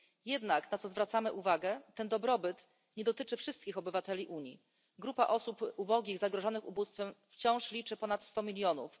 Jednak na co zwracamy uwagę ten dobrobyt nie dotyczy wszystkich obywateli Unii. Grupa osób ubogich i zagrożonych ubóstwem wciąż liczy ponad sto milionów.